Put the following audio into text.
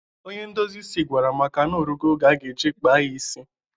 Onye ndozi isi gwara Amaka na ọ rugo oge ọ ga-eji kpaa kpaa ya isi.